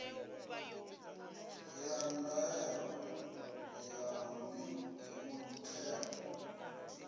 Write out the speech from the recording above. ya ndaela ya muthelo a